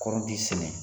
Kɔrɔnti sɛnɛ